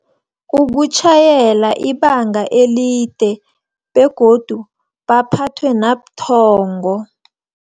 Ukutjhayela ibanga elide, begodu baphathwe nabuthongo.